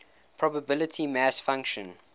probability mass function